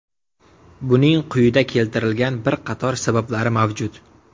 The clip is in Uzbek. Buning quyida keltirilgan bir qator sabablari mavjud.